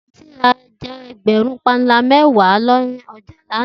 Titi rá èjà pànlá ègbèrún mèwá nàirá làná